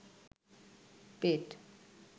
পেট